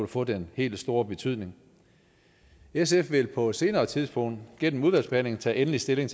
få den helt store betydning sf vil på et senere tidspunkt gennem udvalgsbehandlingen tage endelig stilling